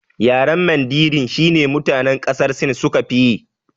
Yaren mandarin shine mutane ƙasar sin suka fiyi